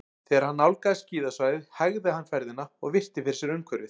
Þegar hann nálgaðist skíðasvæðið hægði hann ferðina og virti fyrir sér umhverfið.